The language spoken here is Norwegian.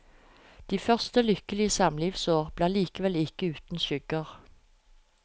De første lykkelige samlivsår var likevel ikke uten skygger.